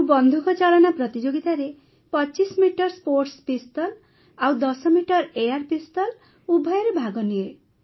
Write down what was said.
ମୁଁ ବନ୍ଧୁକଚାଳନା ପ୍ରତିଯୋଗିତାରେ ୨୫ ମିଟର ସ୍ପୋର୍ଟସ୍ ପିସ୍ତଲ ଆଉ ୧୦ ମିଟର ଏୟାର୍ ପିସ୍ତଲ୍ ଉଭୟରେ ଭାଗ ନିଏ